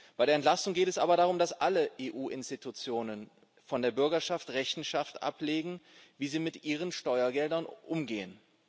Bei der Entlastung geht es aber darum, dass alle EU Institutionen vor der Bürgerschaft Rechenschaft ablegen, wie sie mit ihren Steuergeldern umgehen.